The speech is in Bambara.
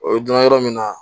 O ye donna yɔrɔ min na